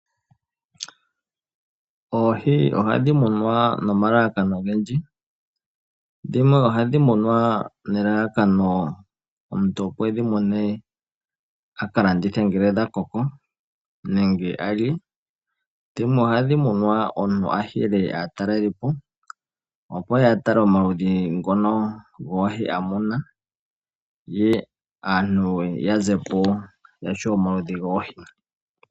Oohi ohadhi munwa nomalalakano ogendji. Dhimwe ohadhi munwa nelalakano omuntu opo e dhi mune a ka landithe ngele dha koko nenge a lye. Dhimwe ohadhi munwa omuntu a hele a taleleko opo a tale omaludhi ngono goohi a mona, ye aantu ya zepo ya shiwa omaludhi goohi.